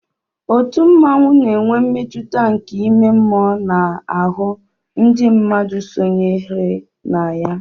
òtù mmanwu na-enwe mmetụta nke ime mmụọ n'ahụ ndị mmadụ sónyeere na ya